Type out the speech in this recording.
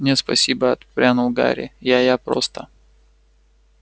нет спасибо отпрянул гарри я я просто